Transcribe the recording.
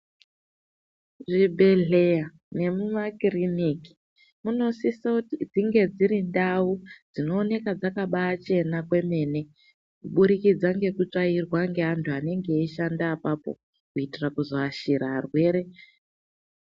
Zvibhedhleya nemumakiriniki munosisa kuti dzinge dzirindau dzinooneka dzakabachena kwemene kuburikidza ngekutsvaira ngeantu anenge eishanda apapo kuitira kuzoashira arwere.